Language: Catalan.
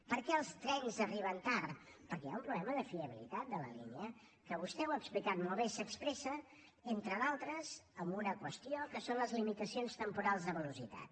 per què els trens arriben tard perquè hi ha un problema de fiabilitat de la línia que vostè ho ha explicat molt bé s’expressa entre d’altres amb una qüestió que són les limitacions temporals de velocitat